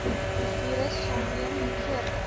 virus saamleef voordat